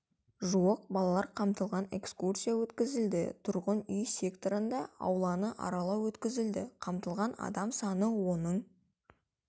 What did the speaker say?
жуық балалар қамтылған экскурсия өткізілді тұрғын үй секторында ауланы аралау өткізілді қамтылған адам саны оның